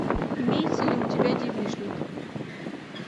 имеется ли у тебя девичник